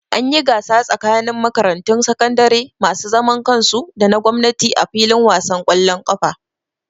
An yi gasa tsakanin makarantun sakandare masu zaman kansu da na gwamnati a fillin wasan ƙwallon ƙafa